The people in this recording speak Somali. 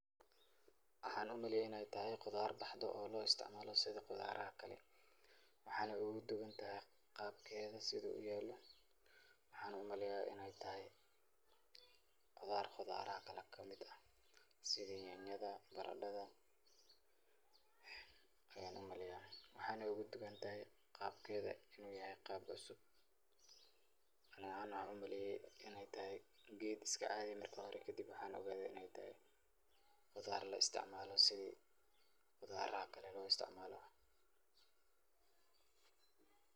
Waxaan umaleeye inaay tahay qudaar baxde oo loo isticmaalo sida qudaaraha kale, waxeeyna ugu duban tahay qaabkeeda sida uu uyaalo, waxaana umaleeya inaay tahay qudaar qudaaraha kale kamid ah, sida nyanyada, baradada ayaan umaleeya waxaayna ugu duban tahay qaabkeeda inuu yahay qaab cusub, ani ahaan waxaan umaleeye inaay tahay geed iska caadi marki hore kadib waxaan ogaade inaay tahay qudaar la isticmaalo sidi qudaaraha kale loo isticmaalo.